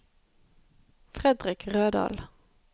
Frederik Rødal